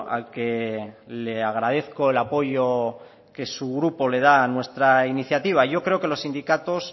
al que le agradezco el apoyo que su grupo le da a nuestra iniciativa yo creo que los sindicatos